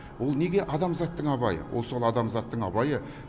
ол неге адамзаттың абайы ол сол адамзаттың абайы